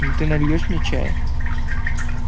ну ты нальёшь мне чая